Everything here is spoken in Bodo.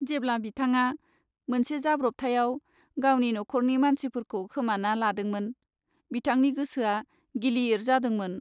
जेब्ला बिथाङा मोनसे जाब्रबथायाव गावनि न'खरनि मानसिफोरखौ खोमाना लादोंमोन, बिथांनि गोसोआ गिलिर जादोंमोन ।